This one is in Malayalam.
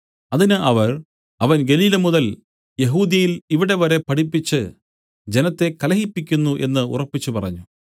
അതിന് അവർ അവൻ ഗലീല മുതൽ യെഹൂദ്യയിൽ ഇവിടെ വരെ പഠിപ്പിച്ച് ജനത്തെ കലഹിപ്പിക്കുന്നു എന്നു ഉറപ്പിച്ചു പറഞ്ഞു